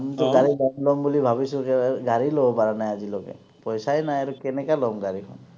আমিটো গাড়ী ল’ম ল’ম বুলি ভাবিছোহে, গাড়ীয়ে ল’ব পৰা নাই আজিলৈকে। পইচাই নাই আৰু, কেনেকা ল’ম গাড়ীখন।